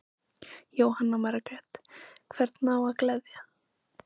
Jóhanna Margrét: Hvern á að gleðja?